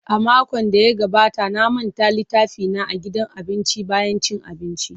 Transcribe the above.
A makon da ya gabata na manta littafina a gidan abinci bayan cin abinci.